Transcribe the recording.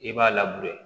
I b'a